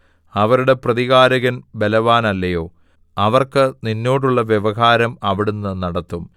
അവരുടെ പ്രതികാരകൻ ബലവാനല്ലയോ അവർക്ക് നിന്നോടുള്ള വ്യവഹാരം അവിടുന്ന് നടത്തും